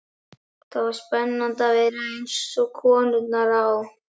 Það var spennandi að vera eins og konurnar á